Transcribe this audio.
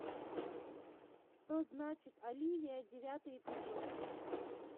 что знает оливия девятый эпизод